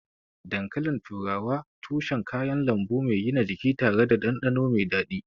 Dankalin turawa tushen kayan lambu mai gina jiki tare da dandano mai dadi.